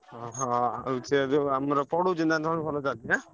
ହଁ ହଁ ଆଉ ସେ ଯଉ ଆମର ପଡ଼ୁଚି ନା ତମର ଭଲ ଚାଲିଛି ନା?